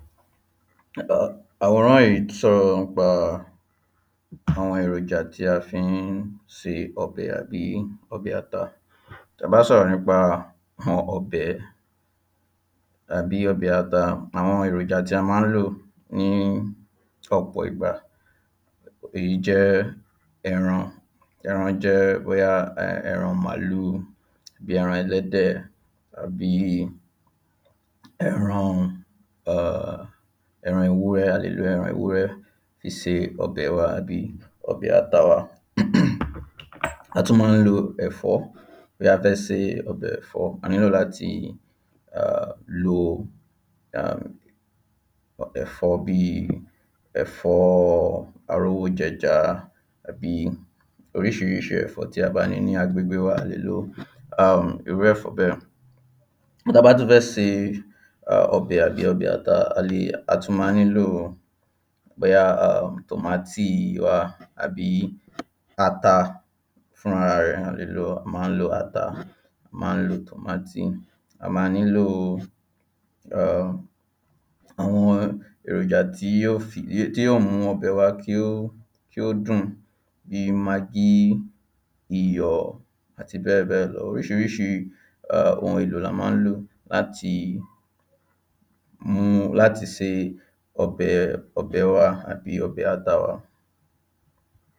Àwòrán yìí sọ̀rọ̀ nípa àwọn èròjà tí a fi ń se ọbẹ̀ àbí ọbẹ̀ ata. ta bá n sọ̀rọ̀ nípa ọbẹ̀ tàbí ọbẹ̀ ata, àwọn èròjà tí a ma ń lò ní ọ̀pọ̀ ìgbà, èyí jẹ́ ẹran, ẹran jẹ́ bóyá ẹran màálù, bíi ẹran ẹlẹ́dẹ̀, àbí ẹran ewúrẹ́, a lè lo ẹran ewúrẹ́ fí se ọbè wa àbí ọbẹ̀ ata wa a tún ma ń lo ẹ̀fọ́ bóyá a fẹ́ se ọbẹ̀ ẹ̀fọ́. A ní lò láti lo ẹ̀fọ́ bìí ẹ̀fọ́ arówójẹja àbí oríṣiríṣi ẹ̀fọ́ tí a bá ní ní agbègbè wà, a lè lo irú ẹ̀fọ́ bẹ́ẹ̀ tába á tún fẹ́ se ọbẹ̀ àbí ọbẹ̀ ata ,a lè, a tun má nílo bóyá tòmátì tàbí ata fún ara rẹ̀, a lè ló, a má n lo ata, a má n lo tòmátì. A má nilo àwọn èròjà tí yóò mú kí ọbẹ̀ wa kí ó dùn bìí magí, iyọ̀ àti bẹ́ẹ̀bẹ́ẹ̀ lọ Oríṣiríṣi ohun èlò la ma ń lò láti se ọbẹ̀ wà àbí ọbẹ̀ ata wa.